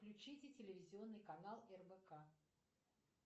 включите телевизионный канал рбк